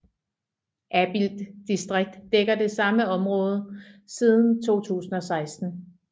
Abild distrikt dækker det samme område siden 2016